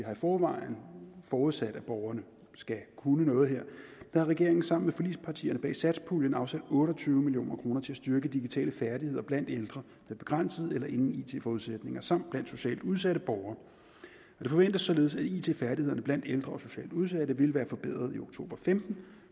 forvejen har forudsat at borgerne skal kunne noget her regeringen har sammen med forligspartierne bag satspuljen afsat otte og tyve million kroner til at styrke digitale færdigheder blandt ældre med begrænsede eller ingen it forudsætning samt blandt socialt udsatte borgere det forventes således at it færdighederne blandt ældre og socialt udsatte vil være forbedret i oktober og femten